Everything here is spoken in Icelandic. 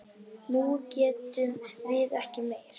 Nú getum við ekki meir.